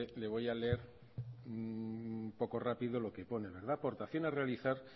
le voy a leer un poco rápido lo que pone aportación a realizar